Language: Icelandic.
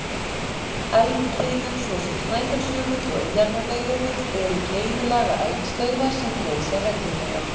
Eldkeilur, svo sem Snæfellsjökull og Eyjafjallajökull, eru keilulaga eldstöðvar sem gjósa reglulega.